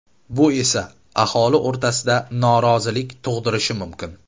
Bu esa aholi o‘rtasida norozilik tug‘dirishi mumkin.